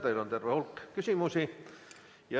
Teile on terve hulk küsimusi.